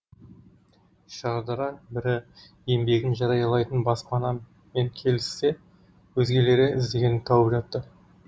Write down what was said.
шардара бірі еңбегін жариялайтын баспанамен келіссе өзгелері іздегенін тауып жатты